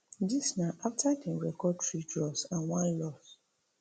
dis na afta dem record three draws and one loss